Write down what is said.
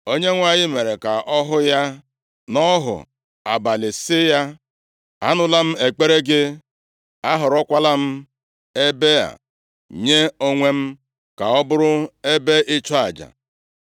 Onyenwe anyị mere ka ọ hụ ya nʼọhụ abalị sị ya, “Anụla m ekpere gị, ahọrọkwala m ebe a nye onwe m, ka ọ bụrụ ebe ịchụ aja.